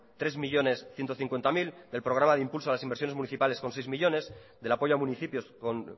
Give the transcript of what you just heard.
tres millónes ciento cincuenta mil del programa de impulso a las inversiones locales con seis millónes del apoyo a municipios con